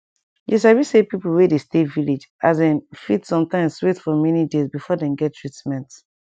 you sabi say pipo wey dey stay village as in fit sometimes wait for many days before dem get treatment